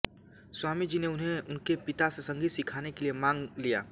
स्वामी जी ने उन्हें उनके पिता से संगीत सिखाने के लिए माँग लिया